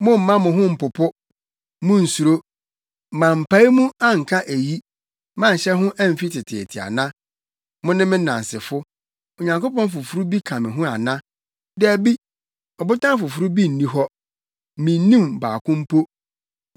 Mommma mo ho mpopo, munnsuro. Mampae mu anka eyi, manhyɛ ho amfi teteete ana? Mone me nnansefo. Onyankopɔn foforo bi ka me ho ana? Dabi, Ɔbotan foforo bi nni hɔ; minnim baako mpo.”